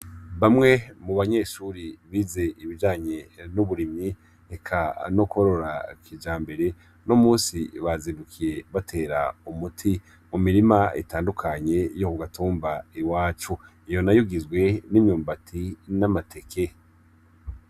Bamwe mu banyeshure bize ibijanye n'uburimyemi eka n'ukworora kijambere, uno munsi bazindukiye batera umuti mu mirima itandukanye yo ku gatumba iwacu. Iyo nayo igizwe n'imyumbati n'ateke